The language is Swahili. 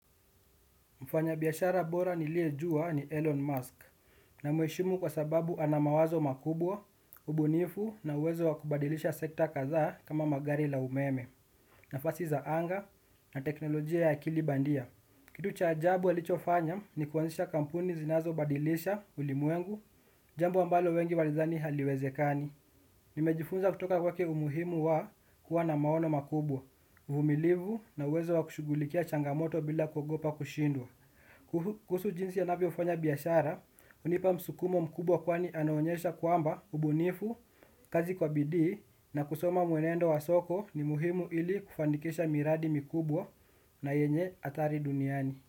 Mfanyabiashara bora niliyejuwa ni Elon Musk na mheshimu kwa sababu anamawazo makubwa, ubunifu na uwezo wakubadilisha sekta kadhaa kama magari la umeme, nafasi za anga na teknolojia ya akili bandia. Kitu cha ajabu alichofanya ni kuanzisha kampuni zinazobadilisha ulimwengu jambo ambalo wengi walidhani haliwezekani. Nimejifunza kutoka kwake umuhimu wa kuwa na maono makubwa, uvumilivu na uwezo wa kushughulikia changamoto bila kugopa kushindwa. Kuhusu jinsi anavyofanya biashara hunipa msukumo mkubwa kwani anaonyesha kwamba ubunifu kazi kwa bidii na kusoma mwenendo wa soko ni muhimu ilikufanikisha miradi mikubwa na yenye hatari duniani.